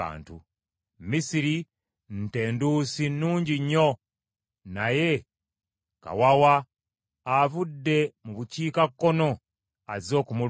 “Misiri nte nduusi nnungi nnyo, naye kawawa avudde mu bukiikakkono azze okumulumba.